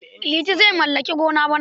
Liti zai mallaki gona bana.